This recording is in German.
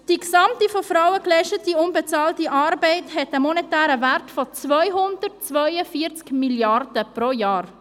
Die gesamte, von Frauen geleistete unbezahlte Arbeit hat einen monetären Wert von 242 Mrd. Franken pro Jahr.